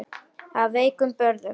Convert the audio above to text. Af veikum burðum.